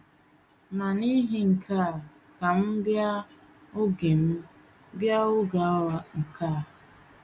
Ma n’ihi nke a ka M bịa oge M bịa oge awa nke a.